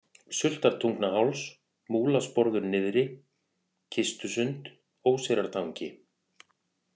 Sultartungnaháls, Múlasporður niðri, Kistusund, Óseyrartangi